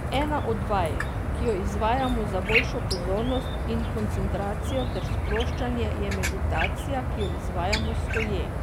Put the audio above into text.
Ena od vaj, ki jo izvajamo za boljšo pozornost in koncentracijo ter sproščanje, je meditacija, ki jo izvajamo stoje.